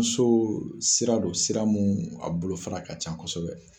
Muso sira don sira min a bolofara ka ca kosɛbɛ